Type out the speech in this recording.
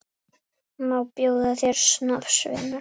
Má bjóða þér snafs, vinur?